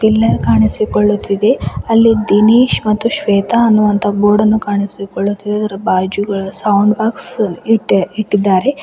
Pillar ಕಾಣಿಸಿಕೊಳ್ಳುತ್ತಿದೆ ಅಲ್ಲಿ ದಿನೇಶ್ ಮತ್ತು ಶ್ವೇತಾ ಅನ್ನುವಂತಹ ಬೋರ್ಡ್ ಅನ್ನು ಕಾಣಿಸಿಕೊಳ್ಳುತ್ತಿದೆ ಅದರ ಬಾಜುಗಳ ಸೌಂಡ್ ಬಾಕ್ಸ್ ಇಟ್ಟೆ ಇಟ್ಟಿದ್ದಾರೆ.